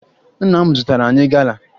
Nna m zụtara anyị gala